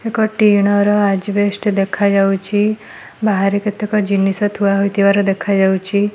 ଏକ ଟିଣ ର ଅଜବେଷ୍ଟ୍ ଦେଖାଯାଉଛି। ବାହାରେ କେତେକ ଜିନିଷ ଥୁଆ ହୋଇଥିବାର ଦେଖାଯାଉଛି।